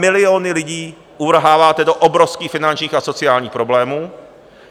Miliony lidí uvrháváte do obrovských finančních a sociálních problémů.